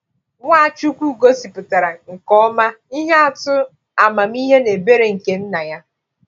Nwachukwu gosipụtara nke ọma ihe atụ amamihe na ebere nke Nna ya.